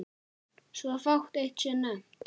Svo fátt eitt sé nefnt.